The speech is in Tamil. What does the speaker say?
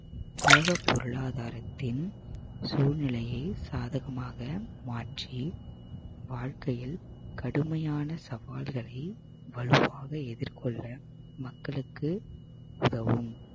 உலக பொருளாதாரத்தின் சூழ்நிலையை சாதகமாக மாற்றி வாழ்க்கையில் கடுமையான சவால்களை வலுவாக எதிர்கொள்ள மக்களுக்கு உதவும்